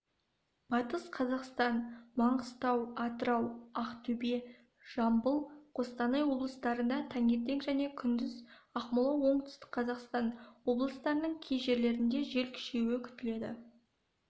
батыс қазақстан маңғыстау атырау ақтөбе жамбыл қостанай облыстарында таңертең және күндіз ақмола оңтүстік қазақстан облыстарының кей жерлерінде жел күшеюі күтіледі